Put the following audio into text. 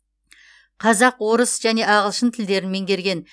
қазақ орыс және ағылшын тілдерін меңгерген